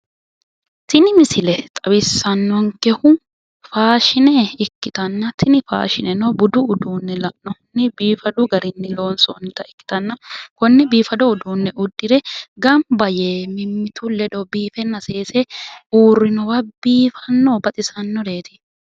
tini misile xawissannonkehu faashine ikkitanna tini faashineno budu uduunne la'nohunni biifadu garinni loonsoonnita ikkitanna konne biifado uduunne uddire gamba yee mimmitu ledo biifenna seese uurrinowa biifannonna baxisannoreeti.